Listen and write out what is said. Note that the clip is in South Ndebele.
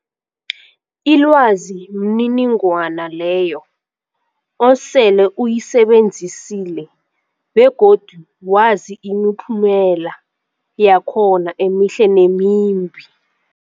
Ilwazi mniningwana leyo osele uyisebenzisile begodu wazi imiphumela yakhona emihle nemimbi.